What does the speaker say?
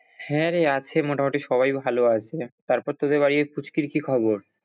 হ্যাঁ রে আছে মোটামুটি সবাই ভালো আছে, তারপর তোদের বাড়ির ওই পুচকির কি খবর?